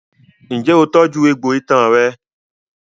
Ǹjẹ́ o tọ́jú egbò itan rẹ?